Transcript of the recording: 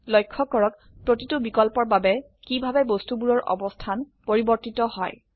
লক্ষ্য কৰক প্ৰতিটো বিকল্পৰ বাবে কিভাবে বস্তুবোৰৰ অবস্থান পৰিবৰ্তিত হয়